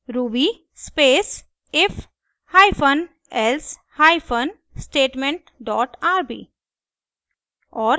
ruby space if hyphen else hyphen statement dot rb